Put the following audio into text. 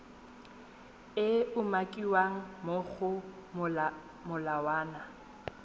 e umakiwang mo go molawana